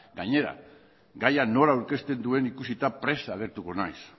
gainera gaia nola aurkezten duen ikusita prest agertuko naiz